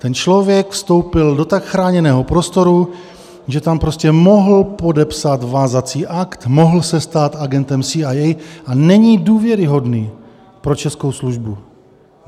Ten člověk vstoupil do tak chráněného prostoru, že tam prostě mohl podepsat vázací akt, mohl se stát agentem CIA a není důvěryhodný pro českou službu.